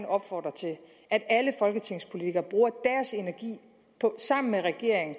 opfordre til at alle folketingspolitikere sammen med regeringen